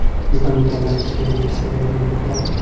Bizda mukammal ishlagan milliy seriallar yo‘q-da.